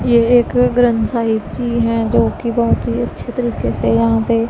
ये एक ग्रंथ साहिब जी है जोकि बहोत ही अच्छे तरीके से यहां पे--